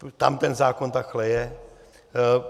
Tam ten zákon takhle je.